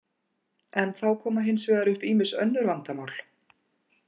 En þá koma hins vegar upp ýmis önnur vandamál.